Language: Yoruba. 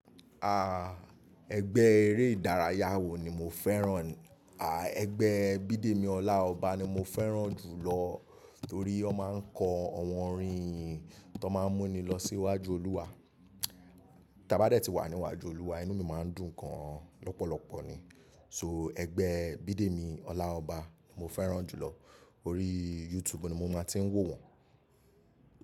Ah, ẹgbẹ́ eré ìdárayá wo ni mo fẹ́ràn? Ah, ẹgbẹ́ Bidemi Ọláọba ni mo fẹ́ràn jù lọ torí ó máa ń kọ àwọn orin iyin tó máa ń mú ni lọ sí iwájú Olúwa. Tí a bá dè tí wà níwájú Olúwa, inú mi máa ń dùn gan lọ́pọ̀lọpọ̀ ni. So ẹgbẹ́ Bidemi Ọláọba ni mo fẹ́ràn jù lọ. Orí YouTube ni mo máa ti ń wò wọ́n.